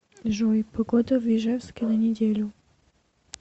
джой погода в ижевске на неделю